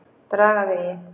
Dragavegi